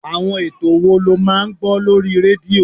Àwọn ètò wo lo máa ń gbọ́ lórí rédíò?